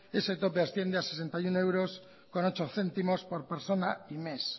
ese tope asciende a sesenta y uno euros con ocho céntimos por persona y mes